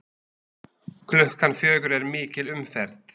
Klukkan fjögur er mikil umferð.